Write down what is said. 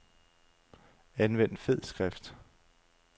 Anvend fed skrift.